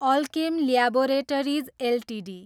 Alkem laboratories Ltd